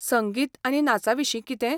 संगीत आनी नाचाविशीं कितें?